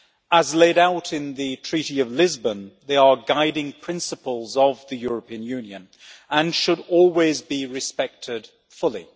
As laid out in the Treaty of Lisbon, they are guiding principles of the European Union and should always be respected fully.